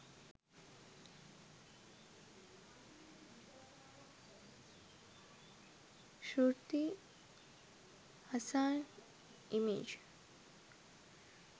shruti hassan image